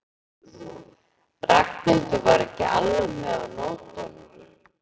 Ragnhildur var ekki alveg með á nótunum.